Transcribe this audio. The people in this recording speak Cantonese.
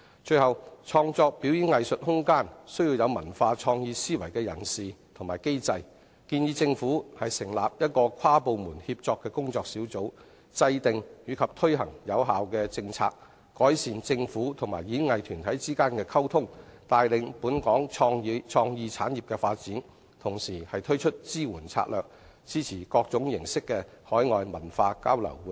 最後，創造表演藝術空間需要具有文化創意思維的主事者與機制，我建議政府成立一個跨部門協作的工作小組，制訂及推行有效政策，改善政府與演藝團體之間的溝通，帶領本港創意產業的發展，同時推出支援策略，支持各式的海外文化交流活動。